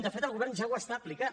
de fet el govern ja ho està aplicant